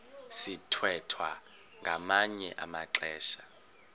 sithwethwa ngamanye amaxesha